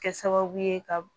Kɛ sababu ye ka